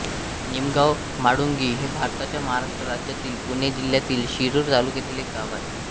निमगांव म्हाळुंगी हे भारताच्या महाराष्ट्र राज्यातील पुणे जिल्ह्यातील शिरूर तालुक्यातील एक गाव आहे